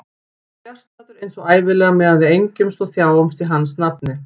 Fjarstaddur eins og ævinlega meðan við engjumst og þjáumst í hans nafni.